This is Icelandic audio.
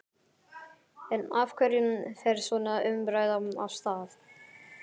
En af hverju fer svona umræða af stað?